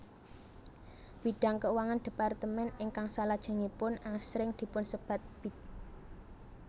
Bidang keuangan departemen ingkang salajengipun asring dipunsebat Bid